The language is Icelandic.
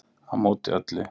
Á móti öllu